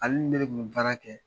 Ale ni ne de kun bi baara kɛ